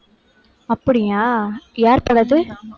அப்படியா? யாரு படம் அது?